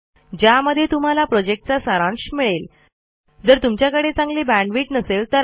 ज्यामध्ये तुम्हाला spoken tutorial प्रॉजेक्टचा सारांश मिळेल